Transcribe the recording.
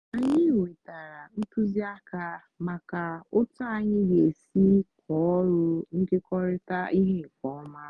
anyị nwetara ntụzịaka maka otu anyị ga-esi kọọ ọrụ nkekọrịta ihe nke ọma.